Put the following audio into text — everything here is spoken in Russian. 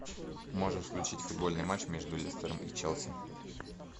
можешь включить футбольный матч между лестером и челси